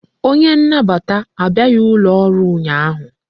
Onye nnabata abịaghi ụlọ ọrụ ụnyaahụ